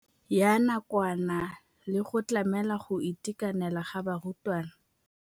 Ya nakwana le go tlamela go itekanela ga barutwana.